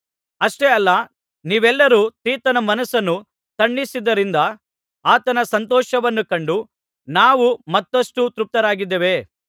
ಅಷ್ಟೇ ಅಲ್ಲ ನೀವೆಲ್ಲರೂ ತೀತನ ಮನಸ್ಸನ್ನು ತಣಿಸಿದ್ದರಿಂದ ಆತನ ಸಂತೋಷವನ್ನು ಕಂಡು ನಾವು ಮತ್ತಷ್ಟು ತೃಪ್ತರಾಗಿದ್ದೇವೆ